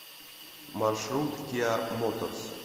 маршрут киа моторс